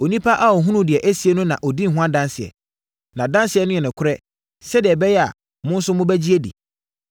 Onipa a ɔhunuu deɛ ɛsiiɛ no na wadi ho adanseɛ. Nʼadanseɛ no yɛ nokorɛ, sɛdeɛ ɛbɛyɛ a mo nso mobɛgye adi.